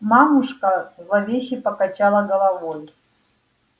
мамушка зловеще покачала головой